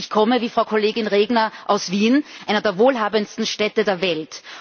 Ich komme, wie Frau Kollegin Regner, aus Wien, einer der wohlhabendsten Städte der Welt.